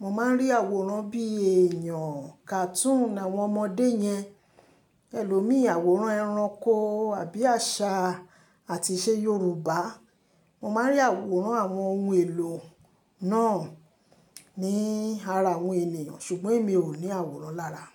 Mo máa ń rí àwòrán bíi èèyàn, cartoon àwọn ọmọdé yẹn, ẹlòmíì àwòrán ẹranko àbí àṣà àtìṣe Yorùbá. Mo máa ń rí àwòrán àwọn ohun èlò náà ní ara àwọn ènìyàn ṣùgbọ́n èmi ò ní àwòrán lára.